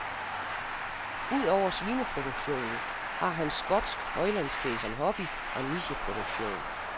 Ud over svineproduktionen har han skotsk højlandskvæg som hobby og nicheproduktion.